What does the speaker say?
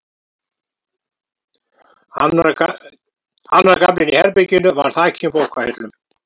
Annar gaflinn í herberginu var þakinn bókahillum.